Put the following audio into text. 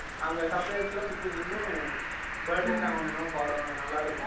அங்க suppliers லாம் சுத்தி நின்னு birthday song ஒன்னு என்னமோ பாடுவாங்க நல்லாயிருக்கும்